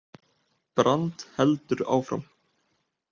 Brand heldur áfram